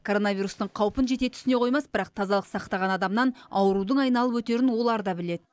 коронавирустың қаупін жете түсіне қоймас бірақ тазалық сақтаған адамнан аурудың айналып өтерін олар да біледі